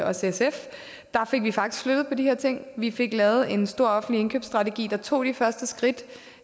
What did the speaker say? også sf der fik vi faktisk flyttet på de her ting vi fik lavet en stor offentlig indkøbsstrategi der tog de første skridt